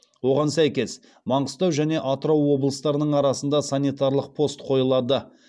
оған сәйкес маңғыстау және атырау облыстарының арасында санитарлық пост қойылады